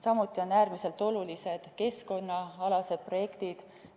Samuti on äärmiselt olulised keskkonnaprojektid.